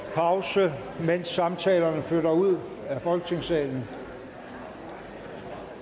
pause mens samtalerne flytter ud af folketingssalen